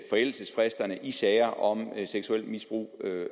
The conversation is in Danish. forældelsesfristerne i sager om seksuelt misbrug